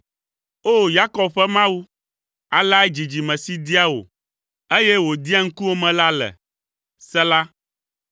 O! Yakob ƒe Mawu, aleae dzidzime si dia wò, eye wòdia ŋkuwòme la le. Sela